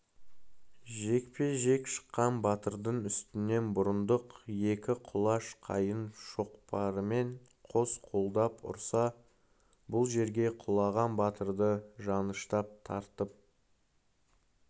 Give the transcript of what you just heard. жекпе-жек шыққан батырдың үстінен бұрындық екі құлаш қайың шоқпарымен қос қолдап ұрса бұл жерге құлаған батырды жаныштап тарпып